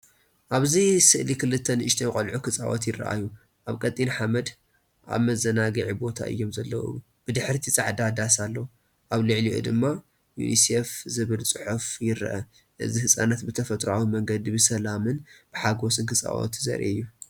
ኣብዚ ስእሊ ክልተ ንኣሽቱ ቆልዑ ክጻወቱ ይረኣዩ። ኣብ ቀጢን ሓመድ ኣብ መዘናግዒ ቦታ እዮም ዘለዉ። ብድሕሪት ጻዕዳ ዳስ ኣሎ፤ ኣብ ልዕሊኡ ድማ “ዩኒሴፍ” ዝብል ጽሑፍ ይርአ። እዚ ህጻናት ብተፈጥሮኣዊ መንገዲ ብሰላምን ብሓጎስን ክጻወቱ ዘርኢ እዩ።